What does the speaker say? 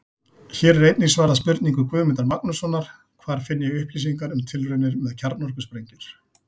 Hér er einnig svarað spurningu Guðmundar Magnússonar: Hvar finn ég upplýsingar um tilraunir með kjarnorkusprengjur?